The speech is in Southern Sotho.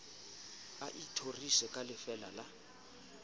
a ithorise ka lefeela la